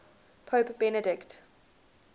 pope benedict